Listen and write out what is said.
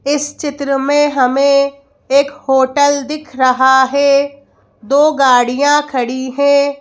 इस चित्र में हमें एक होटल दिख रहा है दो गाड़ियां खड़ी हैं।